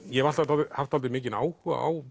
ég hef alltaf haft dálítið mikinn áhuga á